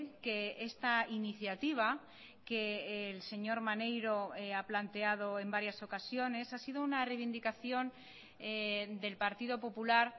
que esta iniciativa que el señor maneiro ha planteado en varias ocasiones ha sido una reivindicación del partido popular